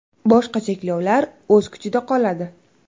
Boshqa cheklovlar o‘z kuchida qoladi.